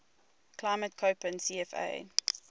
climate koppen cfa